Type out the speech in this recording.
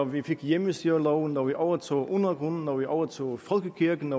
vi fik hjemmestyreloven da vi overtog undergrunden da vi overtog folkekirken